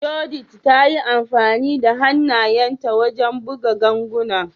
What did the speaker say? Judith ta yi amfani da hannayenta wajen buga ganguna.